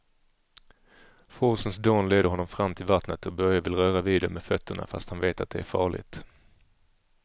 Forsens dån leder honom fram till vattnet och Börje vill röra vid det med fötterna, fast han vet att det är farligt.